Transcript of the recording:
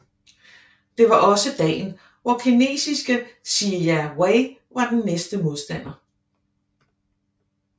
Det var også dagen hvor kinesiske Sijia Wei var den næste modstander